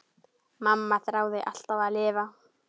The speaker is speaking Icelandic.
Mamma þráði alltaf að lifa.